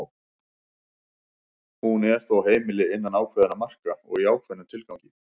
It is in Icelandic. hún er þó heimil innan ákveðinna marka og í ákveðnum tilgangi